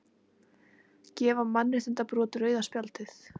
Gefa mannréttindabrotum rauða spjaldið